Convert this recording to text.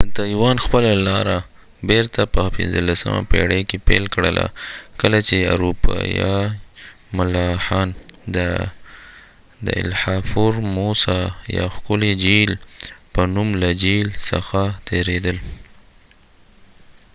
تایوان خپل لاره بیرته په پنځلسمه پيړۍ کې پيل کړله کله چې اروپایي ملاحان د د الحا فورموسا یا ښکلي جهیل په نوم له جهیل څخه تیریدل